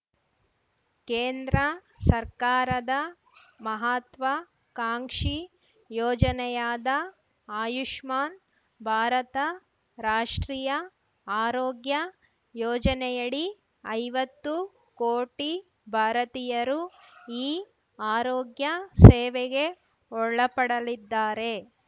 ಕೇಂದ್ರ ಸರ್ಕಾರದ ಮಹತ್ವಾಕಾಂಕ್ಷಿ ಯೋಜನೆಯಾದ ಆಯುಷ್ಮಾನ್‌ ಭಾರತ ರಾಷ್ಟ್ರೀಯ ಆರೋಗ್ಯ ಯೋಜನೆಯಡಿ ಐವತ್ತು ಕೋಟಿ ಭಾರತೀಯರು ಈ ಆರೋಗ್ಯ ಸೇವೆಗೆ ಒಳಪಡಲಿದ್ದಾರೆ